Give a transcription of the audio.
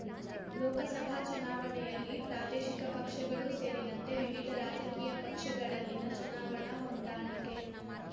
ಲೋಕಸಭಾ ಚುನಾವಣೆಯಲ್ಲಿ ಪ್ರಾದೇಶಿಕ ಪಕ್ಷಗಳೂ ಸೇರಿದಂತೆ ವಿವಿಧ ರಾಜಕೀಯ ಪಕ್ಷಗಳಲ್ಲಿನ ಚುನಾವಣಾ ಹೊಂದಾಣಿಕೆ